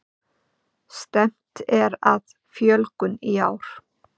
Stefnt er að fjölgun í ár